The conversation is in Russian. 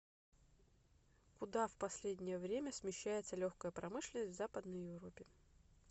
куда в последнее время смещается легкая промышленность в западной европе